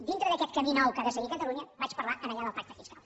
dintre d’aquest camí nou que ha de seguir catalunya vaig parlar allà del pacte fiscal